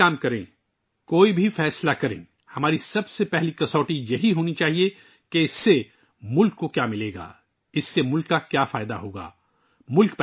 ہم جو بھی کام کریں، جو بھی فیصلہ کریں، ہمارا پہلا معیار ہونا چاہیے... کہ اس سے ملک کو کیا ملے گا؟ اس سے ملک کا کیا فائدہ ہوگا